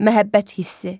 Məhəbbət hissi.